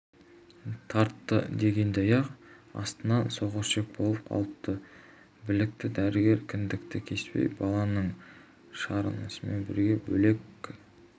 тартты дегендей аяқ астынан соқырішек болып қалыпты білікті дәрігер кіндікті кеспей баланы шаранасымен бірге бөлек